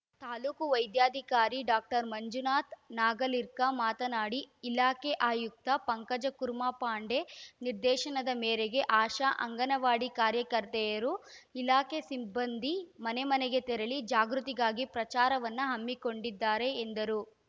ತಾಲೂಕು ವೈದ್ಯಾಧಿಕಾರಿ ಡಾಕ್ಟರ್ ಮಂಜುನಾಥ ನಾಗಲೀಕರ್‌ ಮಾತನಾಡಿ ಇಲಾಖೆ ಆಯುಕ್ತ ಪಂಕಜಕುರ್ಮಾ ಪಾಂಡೆ ನಿರ್ದೇಶನದ ಮೇರೆಗೆ ಆಶಾ ಅಂಗನವಾಡಿ ಕಾರ್ಯಕರ್ತೆಯರು ಇಲಾಖೆ ಸಿಬ್ಬಂದಿ ಮನೆಮನೆಗೆ ತೆರಳಿ ಜಾಗೃತಿಗಾಗಿ ಪ್ರಚಾರವನ್ನು ಹಮ್ಮಿಕೊಂಡಿದ್ದಾರೆ ಎಂದರು